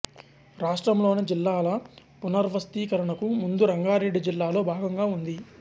రాష్ట్రంలోని జిల్లాల పునర్య్వస్థీకరణకు ముందు రంగారెడ్డి జిల్లాలో భాగంగా ఉంది